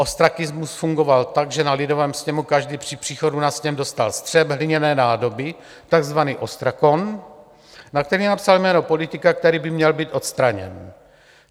Ostrakismus fungoval tak, že na lidovém sněmu každý při příchodu na sněm dostal střep hliněné nádoby, takzvaný ostrakon, na který napsal jméno politika, který by měl být odstraněn.